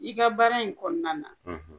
I ka baara in kɔnɔna na